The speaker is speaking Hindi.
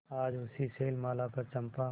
आज उसी शैलमाला पर चंपा